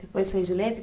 Depois foi de letra?